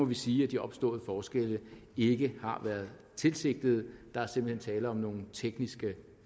vi sige at de opståede forskelle ikke har været tilsigtede der er simpelt hen tale om nogle tekniske